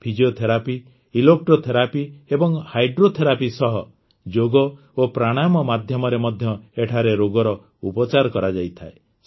physiotherapy electrotherapy ଏବଂ hydrotherapy ସହ ଯୋଗ ଓ ପ୍ରାଣାୟାମ ମାଧ୍ୟମରେ ମଧ୍ୟ ଏଠାରେ ରୋଗର ଉପଚାର କରାଯାଇଥାଏ